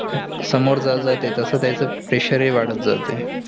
समोर जत जातेय तस तेयच pressure हि वाढत जातेय.